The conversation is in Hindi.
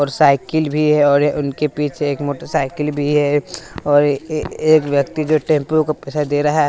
और साइकिल भी है और उनके पीछे एक मोटरसाइकिल भी है और ये एक व्यक्ति जो टेंपो का पैसा दे रहा--